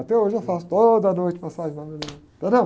Até hoje eu faço toda noite massagem na minha mulher. Entendeu?